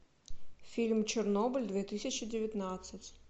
фильм чернобыль две тысячи девятнадцать